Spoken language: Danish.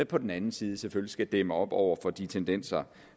på den anden side selvfølgelig skal dæmme op over for de tendenser